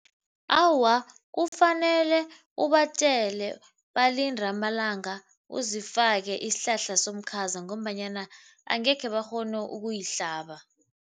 Awa, kufanele ubatjele balinde amalanga uzifake isihlahla somkhaza ngombanyana angekhe bakghone ukuyihlaba.